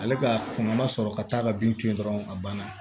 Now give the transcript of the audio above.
Ale ka kunna ma sɔrɔ ka taa ka bin to yen dɔrɔn a banna